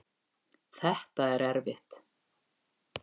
Þetta er erfitt